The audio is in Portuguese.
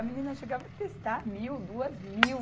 A menina chegava a testar mil, duas mil.